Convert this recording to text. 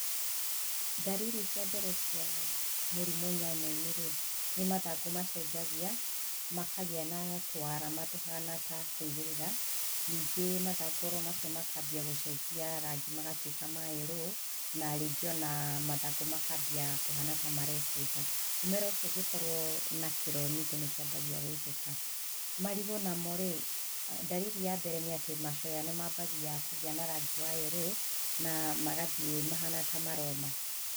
Ndariri cia mbere cia mũrimũ nyanyainĩ rĩ nĩ mathangũ macenjagia makagĩa na tũarama tũhana ta kũigĩrĩra ningĩ mathangũ oro macio makambia gũcenjia rangi magatuĩka ma yerũũ na ningĩ ona mathangũ makambia kũhana ta marekũnja, mũmera ũcio ningĩ ũngĩkorwo na kĩro ningĩ nĩkĩambagia gũitĩka. Marigũ namo rĩ ndariri ya mbere nĩ atĩ macoya nĩmambagia kũgĩa na rangi wa yerũũ na magathie mahana ta maroma.